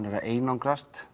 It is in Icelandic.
er að einangrast